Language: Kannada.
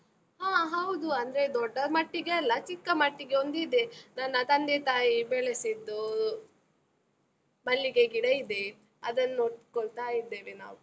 ಹ ಹೌದು, ಅಂದ್ರೆ ದೊಡ್ಡ ಮಟ್ಟಿಗೆ ಅಲ್ಲ, ಚಿಕ್ಕ ಮಟ್ಟಿಗೆ ಒಂದಿದೆ, ನನ್ನ ತಂದೆ ತಾಯಿ ಬೆಳೆಸಿದ್ದೂ, ಮಲ್ಲಿಗೆ ಗಿಡ ಇದೆ, ಅದನ್ನು ನೋಡ್ಕೊಳ್ತಾ ಇದ್ದೇವೆ ನಾವು.